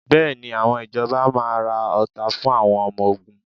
Bẹ́ẹ̀ni, àwọn ìjọba máa ra ọta fún àwọn ọmọ ogun?